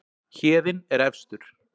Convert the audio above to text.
Héðinn er efstur